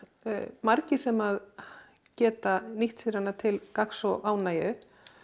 margir sem geta nýtt sér hana til gagns og ánægju